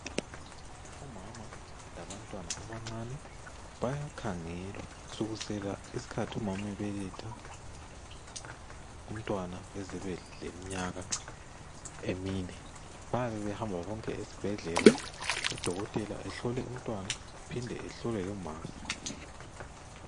Omama labantwana abancane bayakhangelwa kusukusela isikhathi umama ebeletha umntwana aze abeleminyaka emine. Bayaba behamba bonke esibhedlela udokotela ehlola umntwana aphinde ahlole lomama.